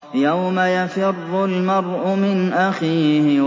يَوْمَ يَفِرُّ الْمَرْءُ مِنْ أَخِيهِ